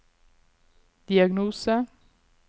diagnose